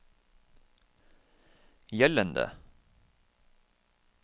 gjeldende